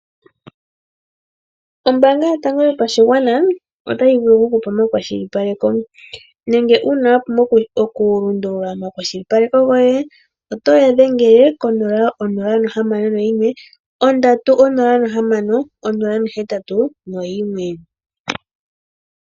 Ombaanga yotango yopashigwana otayi vulu oku kupa omakwashilipaleko nenge uuna wa pumbwa oku lundulula omakwashilipaleko goye oto ya dhengele 061306081.